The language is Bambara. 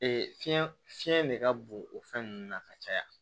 fiɲɛ fiɲɛ de ka bon o fɛn ninnu na ka caya